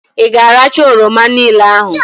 Ị ga-arachaa oroma niile ahụ!